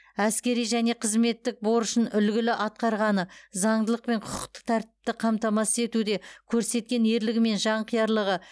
әскери және қызметтік борышын үлгілі атқарғаны заңдылық пен құқықтық тәртіпті қамтамасыз етуде көрсеткен ерлігі мен жанқиярлығы